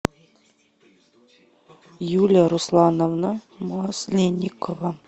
юлия руслановна масленникова